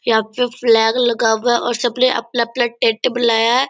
यहाँ पे फ्लैग लगा हुआ है और सबने अपना अपना टैंट बनाया है।